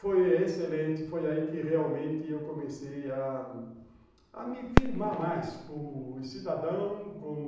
Foi excelente, foi aí que realmente eu comecei a me firmar mais como cidadão, como